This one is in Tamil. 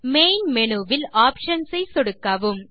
மெயின் மேனு வில் ஆப்ஷன்ஸ் ஐ சொடுக்கவும்